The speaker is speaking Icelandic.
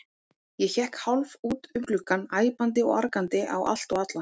Ég hékk hálf út um gluggann, æpandi og argandi á allt og alla.